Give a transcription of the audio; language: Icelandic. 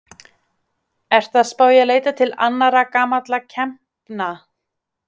Ertu að spá í að leita til annarra gamalla kempna?